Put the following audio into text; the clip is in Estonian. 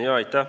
Aitäh!